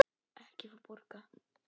Ekki fá borga.